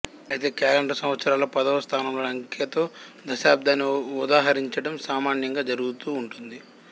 అయితే క్యాలెండరు సంవత్సరాల్లో పదవ స్థానంలోని అంకెతో దశాబదిని ఉదహరించడం సామాన్యంగా జరుగుతూ ఉంటుంది